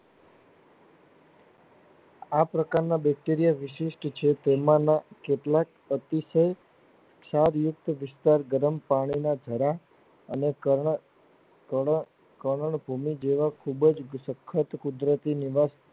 આ પ્રકાર ના Bacteria વિશિષ્ટ છે તેમના કેટલાક અતિશય ક્ષાર મુક્ત વિસ્તાર ગરમ પાણી ના જરા અને કરલ ભૂમિ જેવા ખુબજ સખત કુદરતી નિવાસ